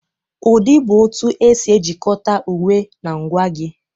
Ụdị bụ otu esi ejikọta uwe na ngwa gị.